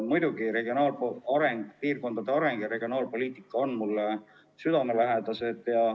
Muidugi on regionaalareng, piirkondade areng ja regionaalpoliitika mulle südamelähedased.